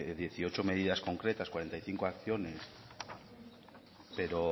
de dieciocho medidas concretas cuarenta y cinco acciones pero